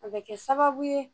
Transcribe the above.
A bɛ kɛ sababu ye